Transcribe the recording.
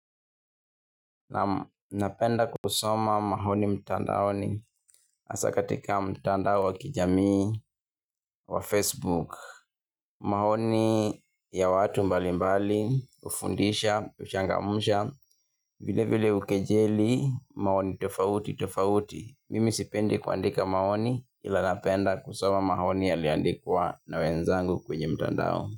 Napenda kusoma maoni mtandaoni hasa katika mtandao wa kijamii wa Facebook. Maoni ya watu mbali mbali hufundisha, huchangamsha, vile vile hukejeli maoni tofauti tofauti. Mimi sipendi kuandika maoni ila napenda kusoma maoni yaliyoandikwa na wenzangu kwenye mtandao.